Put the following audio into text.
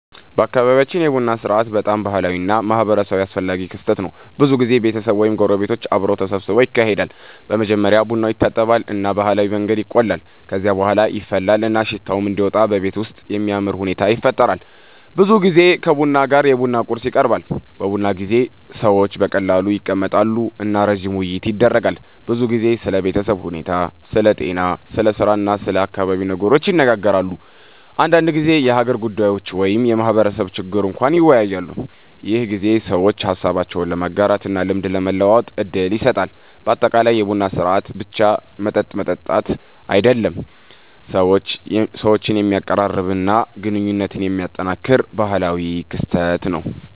በአካባቢያችን የቡና ሥርዓት በጣም ባህላዊ እና ማህበራዊ አስፈላጊ ክስተት ነው። ብዙ ጊዜ ቤተሰብ ወይም ጎረቤቶች አብረው ተሰብስበው ይካሄዳል። በመጀመሪያ ቡናው ይታጠባል እና በባህላዊ መንገድ ይቆላል። ከዚያ በኋላ ይፈላል እና ሽታው እንዲወጣ በቤቱ ውስጥ የሚያምር ሁኔታ ይፈጠራል። ብዙ ጊዜ ከቡና ጋር የቡና ቁርስ ይቀርባሉ። በቡና ጊዜ ሰዎች በቀላሉ ይቀመጣሉ እና ረጅም ውይይት ይደረጋል። ብዙ ጊዜ ስለ ቤተሰብ ሁኔታ፣ ስለ ጤና፣ ስለ ስራ እና ስለ አካባቢ ነገሮች ይነጋገራሉ። አንዳንድ ጊዜ የሀገር ጉዳዮች ወይም የማህበረሰብ ችግር እንኳን ይወያያሉ። ይህ ጊዜ ሰዎች ሀሳባቸውን ለመጋራት እና ልምድ ለመለዋወጥ እድል ይሰጣል። በአጠቃላይ የቡና ሥርዓት ብቻ መጠጥ መጠጣት አይደለም፣ ሰዎችን የሚያቀራርብ እና ግንኙነት የሚያጠናክር ባህላዊ ክስተት ነው።